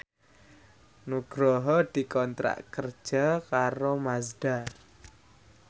Nugroho dikontrak kerja karo Mazda